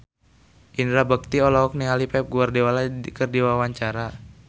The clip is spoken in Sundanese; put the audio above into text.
Indra Bekti olohok ningali Pep Guardiola keur diwawancara